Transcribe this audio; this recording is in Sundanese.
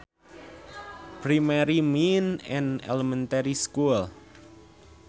Primary means an elementary school